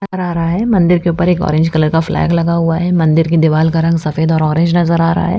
आरा-रा है मंदिर के ऊपर एक ऑरेंज कलर का फ्लैग लगा हुआ है मंदिर के दीवाल का रंग सफेद और ऑरेंज नजर आ रहा है।